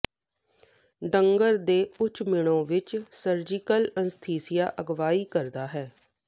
drug ਦੇ ਉੱਚ ਮਿਣੋ ਵਿੱਚ ਸਰਜੀਕਲ ਅਨੱਸਥੀਸੀਆ ਅਗਵਾਈ ਕਰਦਾ ਹੈ